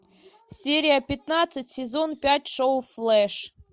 серия пятнадцать сезон пять шоу флэш